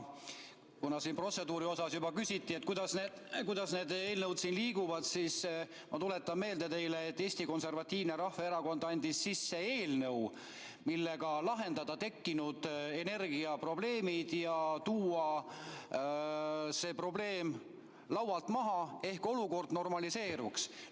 Kuna siin protseduuri osas juba küsiti, kuidas need eelnõud liiguvad, siis ma tuletan teile meelde, et Eesti Konservatiivne Rahvaerakond andis sisse eelnõu, millega lahendada tekkinud energiaprobleemid, tuua see probleem laualt maha, ehk olukord normaliseeruks.